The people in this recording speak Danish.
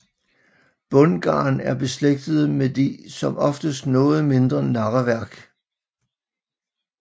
Bundgarn er beslægtede med de som oftest noget mindre narreværk